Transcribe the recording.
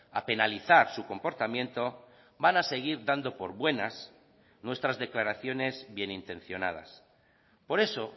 a penalizar su comportamiento van a seguir dando por buenas nuestras declaraciones bienintencionadas por eso